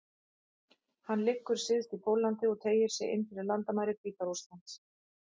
Hann liggur syðst í Póllandi og teygir sig inn fyrir landamæri Hvíta-Rússlands.